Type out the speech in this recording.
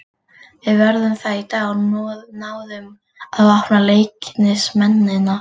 Við gerðum það í dag og náðum að opna Leiknismennina.